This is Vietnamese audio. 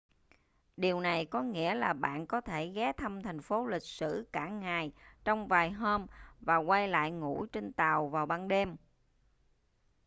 điều này có nghĩa là bạn có thể ghé thăm thành phố lịch sử cả ngày trong vài hôm và quay lại ngủ trên tàu vào ban đêm